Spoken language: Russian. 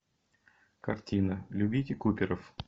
картина любите куперов